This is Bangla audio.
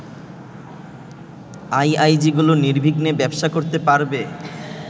আইআইজিগুলো নির্বিঘ্নে ব্যবসা করতে পারবে